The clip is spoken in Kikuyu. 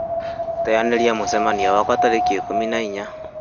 teanĩria mũcemanio wakwa tarĩki ikũmi na inya